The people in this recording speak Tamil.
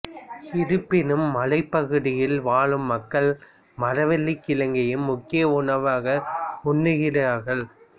இருப்பினும் மலைப்பகுதியில் வாழும் மக்கள் மரவள்ளிக்கிழங்கையும் முக்கிய உணவாக உண்கிறார்கள்